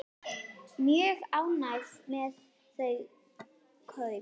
Mjög ánægð með þau kaup.